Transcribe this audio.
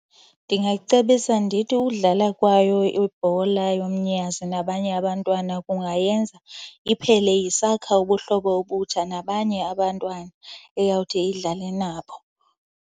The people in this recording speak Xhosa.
Ndingayicebisa ndithi udlala kwayo ibhola yomnyazi nabanye abantwana kungayenza iphele isakha ubuhlobo obutsha nabanye abantwana eyawuthi idlale nabo.